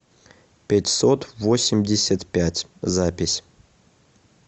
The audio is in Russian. пятьсот восемьдесят пять запись